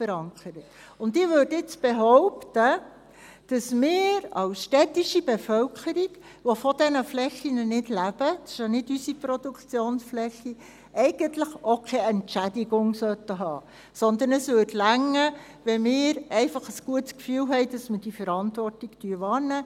Ich würde jetzt behaupten, dass wir als städtische Bevölkerung, die von diesen Flächen nicht leben – es ist ja nicht unsere Produktionsfläche –, eigentlich auch keine Entschädigung haben sollten, sondern es würde reichen, wenn wir einfach ein gutes Gefühl hätten, wenn wir diese Verantwortung wahrnehmen.